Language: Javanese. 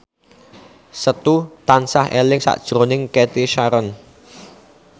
Setu tansah eling sakjroning Cathy Sharon